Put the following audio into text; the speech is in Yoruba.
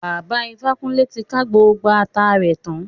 Bàbá Ifákúnlé ti ká gbogbo ata rẹ tán